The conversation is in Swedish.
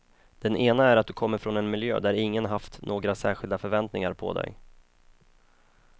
Den ena är att du kommer från en miljö där ingen haft några särskilda förväntningar på dig.